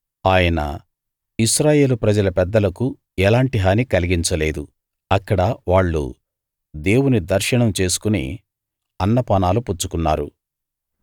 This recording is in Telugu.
ఆయన ఇశ్రాయేలు ప్రజల పెద్దలకు ఎలాంటి హాని కలిగించలేదు అక్కడ వాళ్ళు దేవుని దర్శనం చేసుకుని అన్న పానాలు పుచ్చుకున్నారు